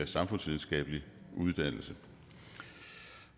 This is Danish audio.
samfundsvidenskabelig uddannelse